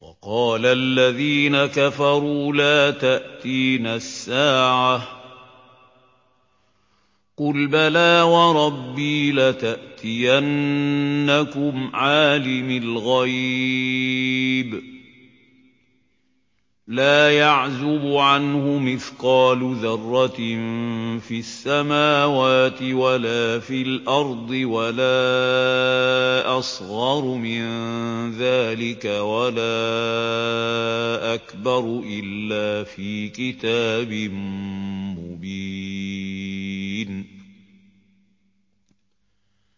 وَقَالَ الَّذِينَ كَفَرُوا لَا تَأْتِينَا السَّاعَةُ ۖ قُلْ بَلَىٰ وَرَبِّي لَتَأْتِيَنَّكُمْ عَالِمِ الْغَيْبِ ۖ لَا يَعْزُبُ عَنْهُ مِثْقَالُ ذَرَّةٍ فِي السَّمَاوَاتِ وَلَا فِي الْأَرْضِ وَلَا أَصْغَرُ مِن ذَٰلِكَ وَلَا أَكْبَرُ إِلَّا فِي كِتَابٍ مُّبِينٍ